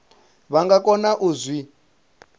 vha nga kona u zwi